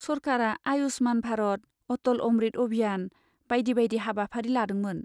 सरकारा आयुश्मान भारत, अटल अमृत अभियान बायदि बायदि हाबाफारि लादोंमोन।